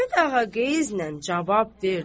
Karapet Ağa qeyzlə cavab verdi.